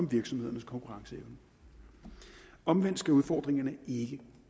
virksomhedernes konkurrenceevne omvendt skal udfordringerne ikke